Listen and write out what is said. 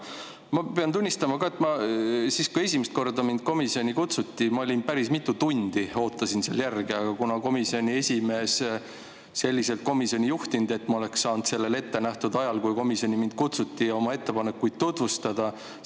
Ma pean tunnistama ka, et kui mind esimest korda komisjoni kutsuti, siis ma päris mitu tundi ootasin seal järge, kuna komisjoni esimees ei juhtinud istungit selliselt, et ma oleksin saanud sellel ettenähtud ajal, kui mind komisjoni kutsuti, oma ettepanekuid tutvustada.